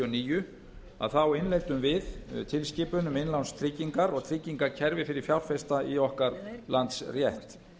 og níu þá innleiddum við tilskipun um innlánstryggingar og tryggingakerfi fyrir fjárfesta í okkar landsrétt